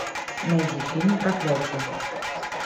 найди фильм проклятие